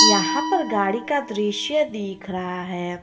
यहां पर गाड़ी का दृश्य दिख रहा है।